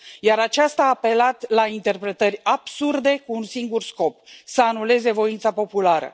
Iar aceasta a apelat la interpretări absurde, cu un singur scop să anuleze voința populară.